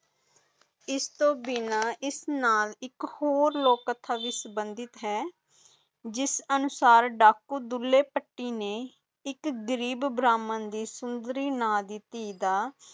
ਇਸ ਤੋਂ ਬਿਨਾ ਇਸ ਨਾ ਦੀ ਇਕ ਹੋਰ ਵੀ ਕਥਾ ਬ ਸੰਬਧਿਤ ਹੈ ਜਿਸ ਅਨੁਸਾਰ ਇਕ ਡਾਕੂ ਦੁਲੇਫ਼ੱਟੀ ਨੇ ਇੱਕ ਗਰੀਬ ਦੀ ਸੁੰਦਰੀ ਨਾ ਦੀ ਤੀਹ ਦਾ